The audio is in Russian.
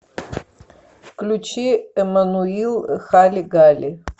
включи эммануил хали гали